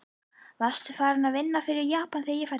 Varstu farinn að vinna fyrir Japanana, þegar ég fæddist?